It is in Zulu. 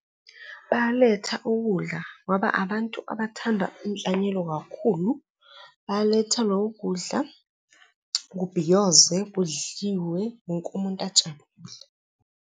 Baletha ukudla ngoba abantu abathanda inhlanyelo kakhulu. Baletha loko kudla kubhiyoze, kudliwe, wonke umuntu ajabule.